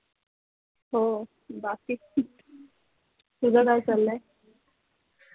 हो बाकी ठीक तुझं काय चाललय